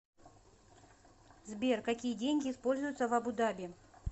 сбер какие деньги используются в абу даби